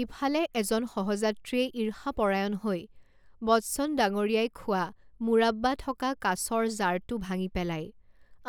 ইফালে এজন সহযাত্ৰীয়ে ঈৰ্ষাপৰায়ণ হৈ বচ্চন ডাঙৰীয়াই খোৱা মুৰাব্বা থকা কাঁচৰ জাৰটো ভাঙি পেলায়,